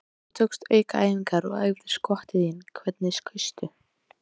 Þegar þú tókst aukaæfingar og æfðir skotin þín, hvernig skaustu?